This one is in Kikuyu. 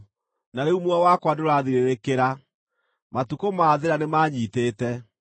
“Na rĩu muoyo wakwa nĩũrathirĩrĩkĩra; matukũ ma thĩĩna nĩmanyiitĩte.